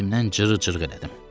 Hirsimdən cırığ-cırıq elədim.